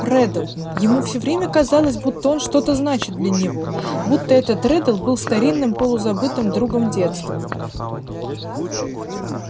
реддл ему всё время казалось будто он что-то значит для него будто этот реддл был старинным полузабытым другом детства